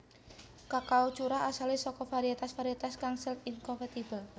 Kakao curah asalé saka variétas variétas kang self incompatible